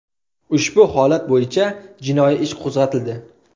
Ushbu holat bo‘yicha jinoiy ish qo‘zg‘atildi.